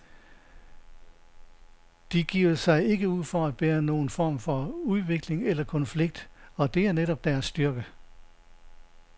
De giver sig ikke ud for at bære nogen form for udvikling eller konflikt, og det er netop deres styrke.